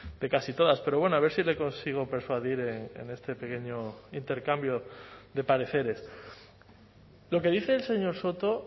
de casi todas pero bueno a ver si le consigo persuadir en este pequeño intercambio de pareceres lo que dice el señor soto